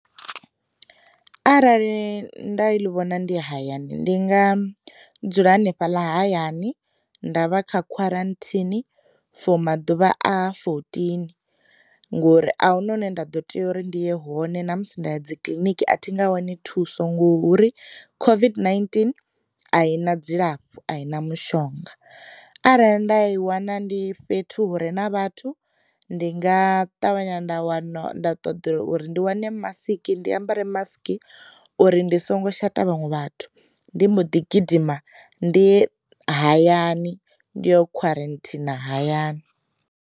Arali nda i ḽi vhona ndi hayani, ndi nga dzula hanefhaḽa hayani nda vha kha khwaranthini for maḓuvha a fourteen ngori ahuna hune nda ḓo tea uri ndi ye hone ṋamusi nda ya dzi kiliniki a thi nga wani thuso ngori COVID-19 a i na dzilafho a i na mushonga, arali nda i wana ndi fhethu hure na vhathu, ndi nga ṱavhanya nda wana nda ṱoḓa uri ndi wane masiki ndi ambara masiki uri ndi songo shata vhaṅwe vhathu, ndi mbo ḓi gidima ndiye hayani ndi yo khwaranthina hayani.